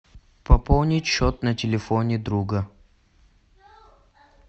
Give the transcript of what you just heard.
пополнить счет на телефоне друга